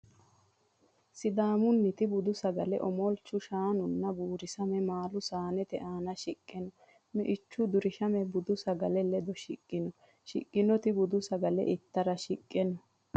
Sidaammuniti budu sagale omolchu shaanunna buurisame maalu saanete aana shiqqe no. Me'ichu durishame bude sagele ledo shiqqino. Shiqqinota budu sagale ittara shiqe no.